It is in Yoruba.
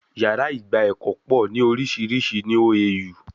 Yàrá ìgba ẹ̀kọ́ pọ̀ ní orísìírísìí ní OAU